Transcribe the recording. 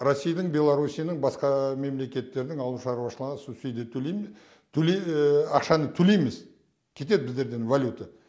российдың белорруссияның басқа мемлекетердің ауыл шаруашылығына субсудия ақшаны төлейміз кетеді біздерден валюта